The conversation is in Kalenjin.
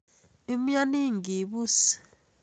Imyoni ngibus